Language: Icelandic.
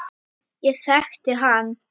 Ég þekkti hann